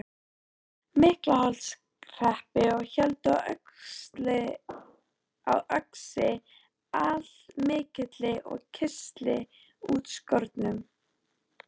Miklaholtshreppi og héldu á öxi allmikilli og kistli útskornum.